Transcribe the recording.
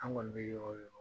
An kɔni bɛ yɔrɔ yɔrɔ